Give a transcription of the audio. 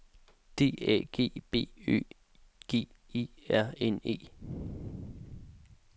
D A G B Ø G E R N E